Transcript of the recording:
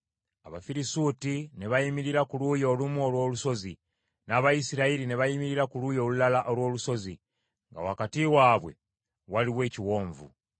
Abafirisuuti ne bayimirira ku luuyi olumu olw’olusozi, n’Abayisirayiri ne bayimirira ku luuyi olulala olw’olusozi, nga wakati waabwe waliwo ekiwonvu.